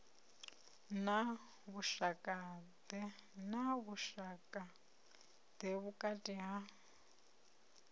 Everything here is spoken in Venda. na vhushaka ḓe vhukati ha